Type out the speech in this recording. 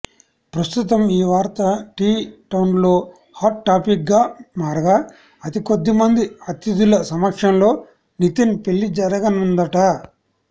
ప్రస్తుతం ఈ వార్త టీ టౌన్లో హాట్ టాపిక్గా మారగా అతికొద్దిమంది అతిథుల సమక్షంలో నితిన్ పెళ్లి జరగనుందట